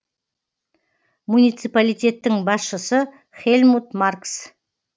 муниципалитеттің басшысы хельмут маркс